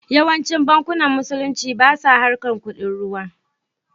Yawancin bankunan musulunci basa harkar kuɗin ruwa